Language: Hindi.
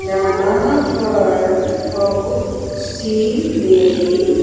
यहां पर बहुत सी लेडीज --